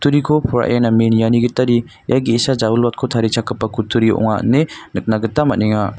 poraie name niani gitade ia ge·sa ja·wilwatko tarichakgipa kutturi ong·a ine nikna gita man·enga.